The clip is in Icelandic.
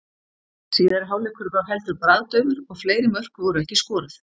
Síðari hálfleikur var heldur bragðdaufur og fleiri mörk voru ekki skoruð.